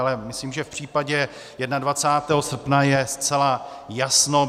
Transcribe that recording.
Ale myslím, že v případě 21. srpna je zcela jasno.